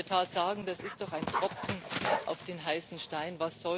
Man kann in der Tat sagen Das ist doch ein Tropfen auf den heißen Stein.